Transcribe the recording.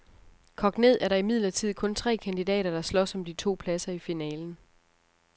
Kogt ned er der imidlertid kun tre kandidater, der slås om de to pladser i finalen.